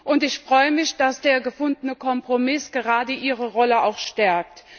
Und ich freue mich, dass der gefundene Kompromiss gerade ihre Rolle auch stärkt.